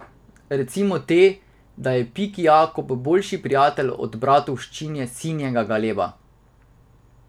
Recimo te, da je Piki Jakob boljši prijatelj od Bratovščine Sinjega galeba.